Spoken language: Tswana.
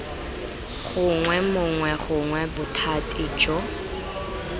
gongwe mongwe gongwe bothati jo